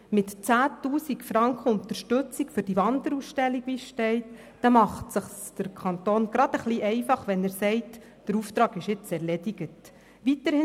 Mit 10 000 Franken Unterstützung für die Wanderausstellung, macht es sich der Kanton gerade ein bisschen einfach, wenn er sagt, der Auftrag sei jetzt erledigt.